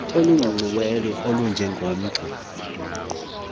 oluciciyelweyo olunje ngomgca